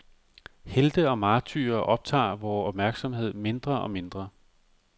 Helte og martyrer optager vor opmærksomhed mindre og mindre.